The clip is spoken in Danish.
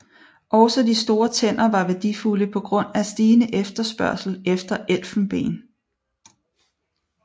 Også de store tænder var værdifulde på grund af stigende efterspørgsel efter elfenben